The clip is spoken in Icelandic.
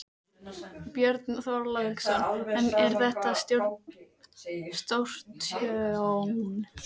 Björn Þorláksson: En er þetta ekki stórtjón?